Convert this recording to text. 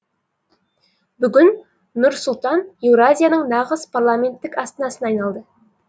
бүгін нұр сұлтан еуразияның нағыз парламенттік астанасына айналды